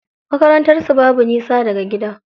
Makarantar su babu nisa daga gida.